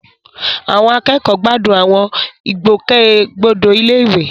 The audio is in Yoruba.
Àwọn akẹ́kọ̀ọ́ gbádùn àwọn ìgbòkègbodò ilé-ìwé.